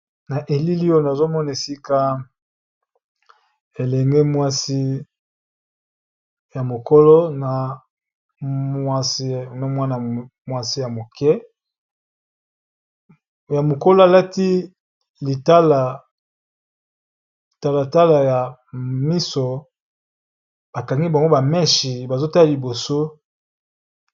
Na bilili oyo na moni mwasi ya mokolo na ya moke bazo tala Liboso, ya mokolo bakangi ye ba meches.